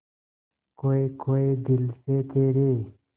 खोए खोए दिल से तेरे